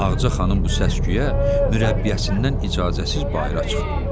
Ağaca xanım bu səs-küyə mürəbbiyəsindən icazəsiz bayıra çıxdı.